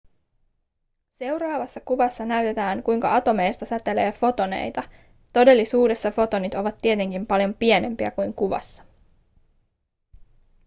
seuraavassa kuvassa näytetään kuinka atomeista säteilee fotoneita todellisuudessa fotonit ovat tietenkin paljon pienempiä kuin kuvassa